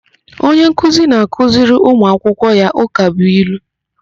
Onye nkuzi na-akụziri ụmuakwụkwọ ya ụkabụilu.